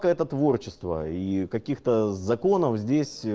это творчество и каких-то законов здесь